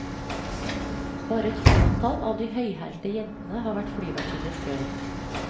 Bare et fåtall av de høyhælte jentene har vært flyvertinner før.